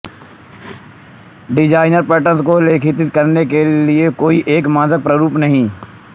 design pattern को प्रलेखित करने के लिए कोई एक मानक प्रारूप नहीं है